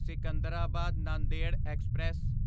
Secunderabad Nanded express